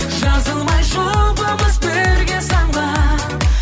жазылмай жұбымыз бірге самғап